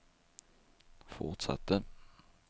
fortsatte